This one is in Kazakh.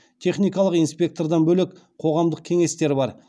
техникалық инспектордан бөлек қоғамдық кеңестер бар